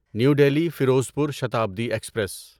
new Delhi Ferozepur Shatabdi express